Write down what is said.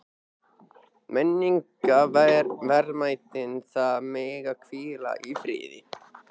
Menningarverðmætin þar mega hvíla í friði.